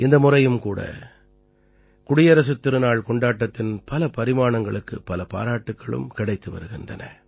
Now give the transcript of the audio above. இந்த முறையும் கூட குடியரசுத் திருநாள் கொண்டாட்டத்தின் பல பரிமாணங்களுக்குப் பல பாராட்டுக்களும் கிடைத்து வருகின்றன